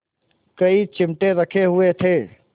कई चिमटे रखे हुए थे